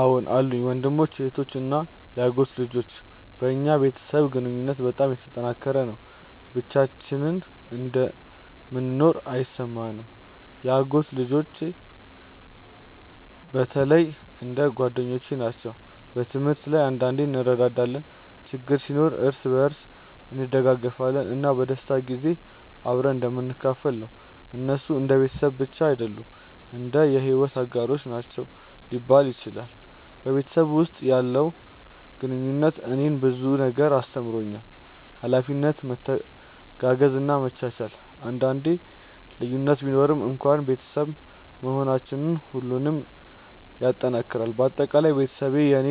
አዎን አሉኝ፤ ወንድሞች፣ እህቶች እና የአጎት ልጆች። በእኛ ቤተሰብ ግንኙነት በጣም የተጠናከረ ነው፣ ብቻችንን እንደምንኖር አይሰማንም። የአጎት ልጆቼ በተለይ እንደ ጓደኞቼ ናቸው። በትምህርት ላይ አንዳንዴ እንረዳዳለን፣ ችግር ሲኖር እርስ በርሳችን እንደግፋለን፣ እና በደስታ ጊዜ አብረን እንደምንካፈል ነው። እነሱ እንደ ቤተሰብ ብቻ አይደሉም፣ እንደ የሕይወት አጋሮች ናቸው ሊባል ይችላል። በቤተሰብ ውስጥ ያለው ግንኙነት እኔን ብዙ ነገር አስተምሮኛል፤ ኃላፊነት፣ መተጋገዝ እና መቻቻል። አንዳንዴ ልዩነት ቢኖርም እንኳን ቤተሰብ መሆናችን ሁሉንም ይጠናክራል። በአጠቃላይ ቤተሰቤ ለእኔ